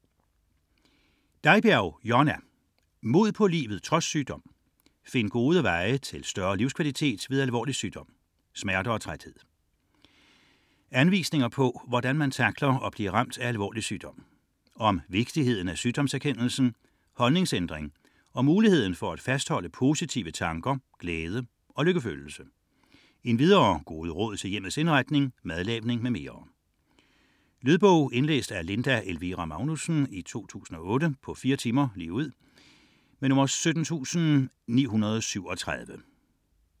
61.01 Deibjerg, Jonna: Mod på livet trods sygdom: find gode veje til større livskvalitet ved alvorlig sygdom - smerter og træthed Anvisninger på, hvordan man tackler at blive ramt af alvorlig sygdom. Om vigtigheden af sygdomserkendelsen, holdningsændring og muligheden for at fastholde positive tanker, glæde, lykkefølelse. Endvidere gode råd til hjemmets indretning, madlavning m.m. Lydbog 17937 Indlæst af Linda Elvira Magnusssen, 2008. Spilletid: 4 timer, 0 minutter.